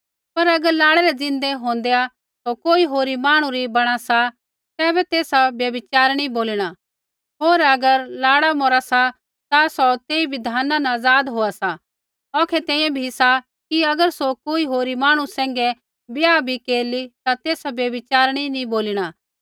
पर अगर लाड़ै रै ज़िन्दै होंदै सौ कोई होरी मांहणु री बणा सा तैबै तेसा व्यभिचारिणी बोलिणा होर अगर लाड़ा मौरा सा ता सौ तेई बिधान न आज़ाद होआ सा औखै तैंईंयैं भी सा कि अगर सौ कोई होरी मांहणु सैंघै ब्याह भी केरली ता तेसा व्यभिचारिणी नी बोलीणा